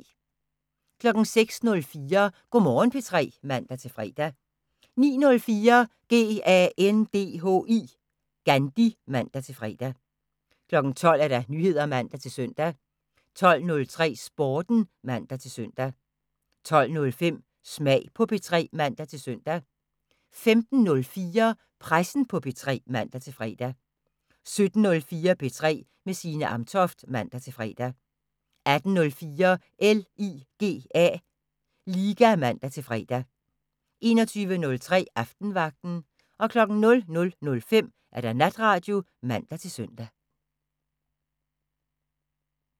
06:04: Go' Morgen P3 (man-fre) 09:04: GANDHI (man-fre) 12:00: Nyheder (man-søn) 12:03: Sporten (man-søn) 12:05: Smag på P3 (man-søn) 15:04: Pressen på P3 (man-fre) 17:04: P3 med Signe Amtoft (man-fre) 18:04: LIGA (man-fre) 21:03: Aftenvagten 00:05: Natradio (man-søn)